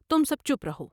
تم سب چپ رہو ۔